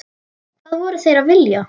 Hvað voru þeir að vilja?